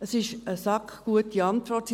Es ist eine «sackgute» Antwort: